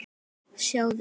Sjáðu